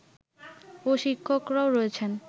ও শিক্ষকরাও রয়েছেন